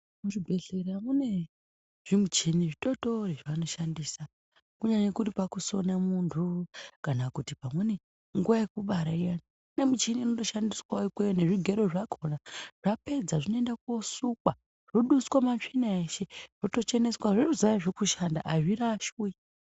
Muzvibhedhlera mune zvimuchini zvitotori zvanishandisa kunyari muri pakusona muntu kana pamweni nguwa yekubara nemichini inoshandiswa nezvigero zvakona vapedza zvinoendwa koduswa zvobvisa matsvina ese zvitocheneswawo azvirashwi.